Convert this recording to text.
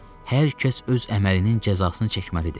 Hər kəs öz əməlinin cəzasını çəkməlidir.